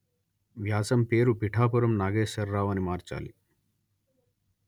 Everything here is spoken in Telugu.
వ్యాసం పేరు పిఠాపురం నాగేశ్వరరావు అని మార్చాలి